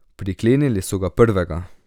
Priklenili so ga prvega.